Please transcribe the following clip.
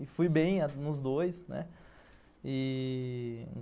E fui bem nos dois, né. E...